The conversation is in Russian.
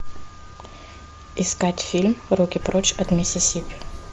искать фильм руки прочь от миссисипи